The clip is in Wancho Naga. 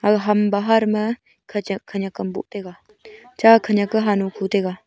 a ham bahar ma khachak khanak am bo taiga cha khank a hanho khu taiga.